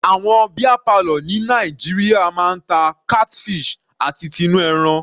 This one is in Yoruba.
Àwọn beer parlour ni Nàìjíríà máa ń ta catfish àti tinú ẹran.